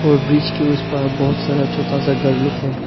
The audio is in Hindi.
और ब्रिज के उस पार बहुत सारा छोटा सा घर लुक है।